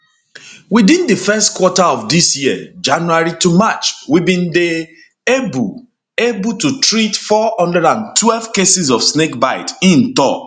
within di first quarter of dis year january march we bin dey able able to treat 412 cases of snake bite im tok